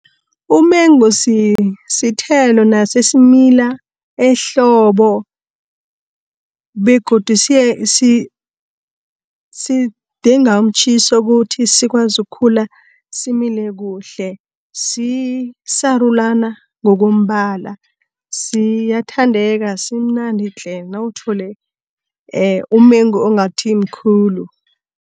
Umengo sithelo naso esimila ehlobo, begodu sidinga umtjhiso ukuthi sikwazi ukukhula simile kuhle. Sisarulana ngokombala siyathandeka, simnandi tle! nawuthole umengu ongathimkhulu.